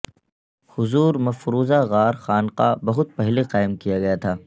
حضور مفروضہ غار خانقاہ بہت پہلے قائم کیا گیا تھا